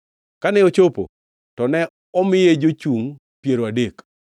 Kane ochopo, to ne omiye jochungʼ piero adek.